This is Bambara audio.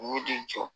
U y'u den jɔ